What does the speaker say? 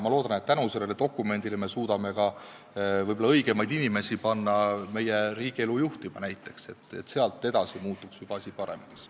Ma loodan, et tänu sellele dokumendile me suudame näiteks võib-olla õigemaid inimesi panna meie riigielu juhtima, sealt edasi muutuks asi juba paremaks.